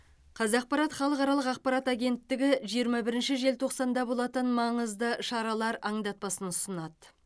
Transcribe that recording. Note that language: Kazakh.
қазақпарат халықаралық ақпарат агенттігі жиырма бірінші желтоқсанда болатын маңызды шаралар аңдатпасын ұсынады